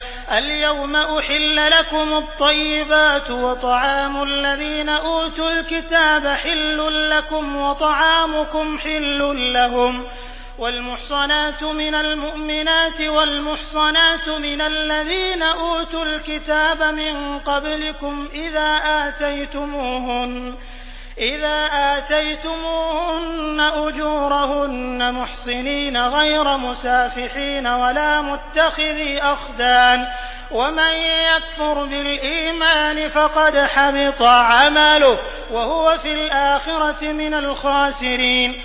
الْيَوْمَ أُحِلَّ لَكُمُ الطَّيِّبَاتُ ۖ وَطَعَامُ الَّذِينَ أُوتُوا الْكِتَابَ حِلٌّ لَّكُمْ وَطَعَامُكُمْ حِلٌّ لَّهُمْ ۖ وَالْمُحْصَنَاتُ مِنَ الْمُؤْمِنَاتِ وَالْمُحْصَنَاتُ مِنَ الَّذِينَ أُوتُوا الْكِتَابَ مِن قَبْلِكُمْ إِذَا آتَيْتُمُوهُنَّ أُجُورَهُنَّ مُحْصِنِينَ غَيْرَ مُسَافِحِينَ وَلَا مُتَّخِذِي أَخْدَانٍ ۗ وَمَن يَكْفُرْ بِالْإِيمَانِ فَقَدْ حَبِطَ عَمَلُهُ وَهُوَ فِي الْآخِرَةِ مِنَ الْخَاسِرِينَ